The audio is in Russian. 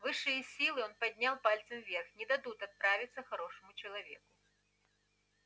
высшие силы он поднял пальцы вверх не дадут отправиться хорошему человеку